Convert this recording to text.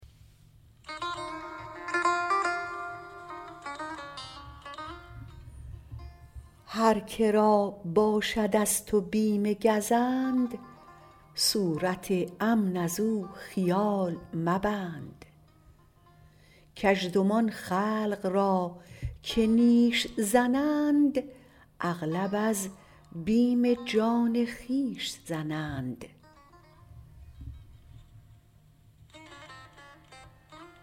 هر که را باشد از تو بیم گزند صورت امن ازو خیال مبند کژدمان خلق را که نیش زنند اغلب از بیم جان خویش زنند